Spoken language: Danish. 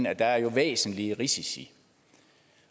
at der jo er væsentlige risici